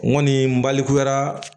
N kɔni n balikuya